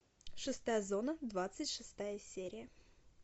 шестая зона двадцать шестая серия